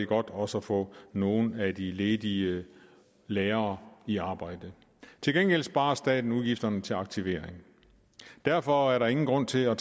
godt også at få nogle af de ledige lærere i arbejde til gengæld sparer staten udgifterne til aktivering derfor er der ingen grund til at